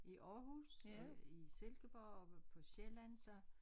I Aarhus og i Silkeborg og på Sjælland så